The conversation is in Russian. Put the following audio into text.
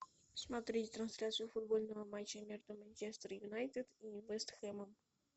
смотреть трансляцию футбольного матча между манчестер юнайтед и вест хэмом